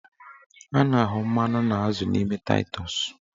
A na-ahụ mmanụ na azụ n'ime taịtọs